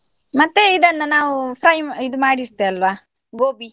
ಮತ್ತೆ ಇದನ್ನ ನಾವು fry ಇದು ಮಾಡಿ ಇಡ್ತೇವೆ ಅಲ್ವಾ gobi .